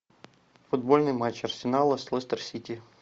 футбольный матч арсенала с лестер сити